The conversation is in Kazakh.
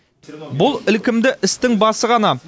бұл ілкімді істің басы ғана